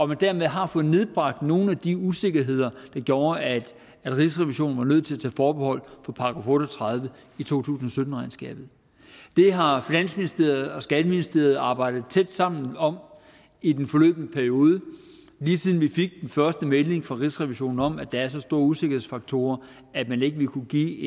man dermed har fået nedbragt nogle af de usikkerheder der gjorde at rigsrevisionen var nødt til at tage forbehold for § otte og tredive i to tusind og sytten regnskabet det har finansministeriet og skatteministeriet arbejdet tæt sammen om i den forløbne periode lige siden vi fik den første melding fra rigsrevisionen om at der var så store usikkerhedsfaktorer at man ikke ville kunne give